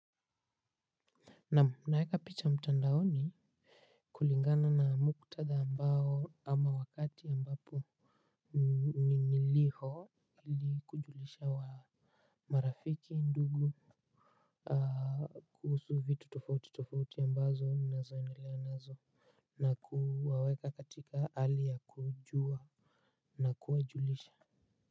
Nam unaeka picha mtandaoni. Kulingana na muktada ambao ama wakati ambapo ni niliho ili kujulisha wa marafiki ndugu. Kuhusu vitu tofauti tofauti ambazo minazoendelea nazo. Na kuwaweka katika hali ya kujua na kuajulisha.